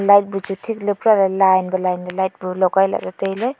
light bu chu thik ley pura lay line ba line ley light bu logai lah ley tailey.